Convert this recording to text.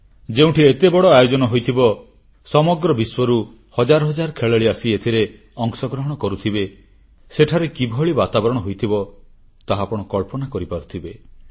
ଯେଉଁଠି ଏତେ ବଡ଼ ଆୟୋଜନ ହୋଇଥିବ ସମଗ୍ର ବିଶ୍ୱରୁ ହଜାର ହଜାର ଖେଳାଳି ଆସି ଏଥିରେ ଅଂଶଗ୍ରହଣ କରୁଥିବେ ସେଠାରେ କିଭଳି ବାତାବରଣ ହୋଇଥିବ ତାହା ଆପଣ କଳ୍ପନା କରିପାରୁଥିବେ